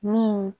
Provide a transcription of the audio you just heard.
Min